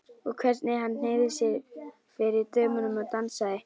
Og hvernig hann hneigði sig fyrir dömunum og dansaði!